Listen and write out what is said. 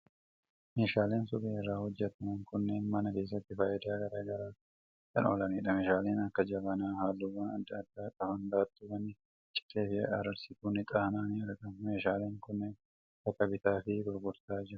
Meeshaaleen suphee irraa hojjetaman kunneen mana keessatti faayidaa garaa garaaf kan oolanidha. Meeshaaleen akka jabanaa halluuwwan adda addaa qaban, baattuuwwan cilee fi aarsituun ixaanaa ni argamu. Meeshaaleen kunneen bakka bittaa fi gurgurtaa jiru.